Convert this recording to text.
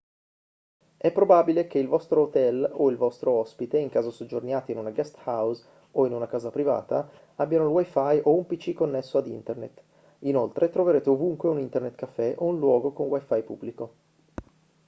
è probabile che il vostro hotel o il vostro ospite in caso soggiorniate in una guesthouse o in una casa privata abbiano il wi-fi o un pc connesso a internet; inoltre troverete ovunque un internet cafè o un luogo con wi-fi pubblico